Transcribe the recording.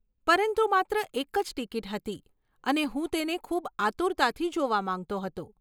પરંતુ માત્ર એક જ ટિકિટ હતી, અને હું તેને ખૂબ આતુરતાથી જોવા માંગતો હતો.